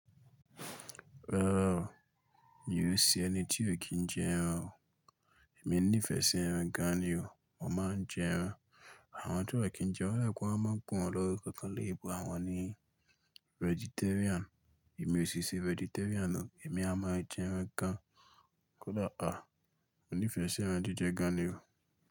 Rárá o, mi ò ṣe ẹni tí ò kí n jẹ ẹran o. Èmi nífẹ̀ẹ́ sí ẹran gan ni o, mo máa ń jẹ ẹran. Àwọn tí wọ́n ò kí n jẹ odà pé wọ́n máa ń pen wọ́n ni orúkọ kan ni ebo àwọn ni vegetarian. Èmi ò sì ṣe vegetarian o, èmi a máa jẹ ẹran gan kódà a, mo nífẹ̀ẹ́ sí ẹran jíjẹ gan ni o.